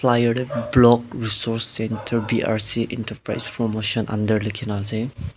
playir tae block resource centre B_R_C enterprise promotion under likhina ase.